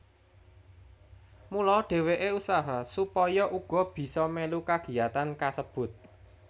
Mula dheweke usaha supaya uga bisa melu kagiyatan kasebut